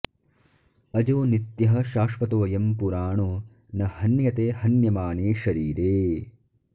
अजो नित्यः शाश्वतोऽयं पुराणो न हन्यते हन्यमाने शरीरे